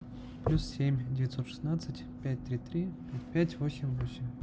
плюс семь девятьсот шестнадцать пять три три пять восемь восемь